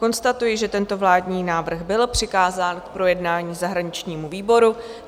Konstatuji, že tento vládní návrh byl přikázán k projednání zahraničnímu výboru.